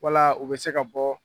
Wala u bɛ se ka bɔ.